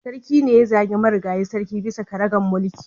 Sarki ne ya zagi marigayi sarki bisa karagar mulki